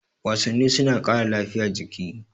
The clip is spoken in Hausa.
Wasanni suna ƙara lafiya jiki